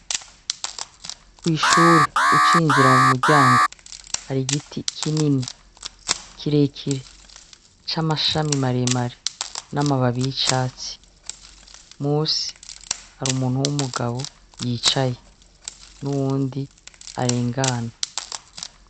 Kw'ishure ucinjira mu muryango hari igiti kinini kirekire c'amashami maremare n'amababi y'icatsi , musi har'umuntu w'umugabo yicaye n'uyundi arengana.